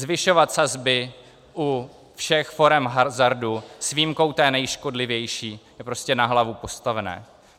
Zvyšovat sazby u všech forem hazardu s výjimkou té nejškodlivější je prostě na hlavu postavené.